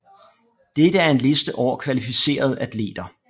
Dette er en liste over kvalificerede atleter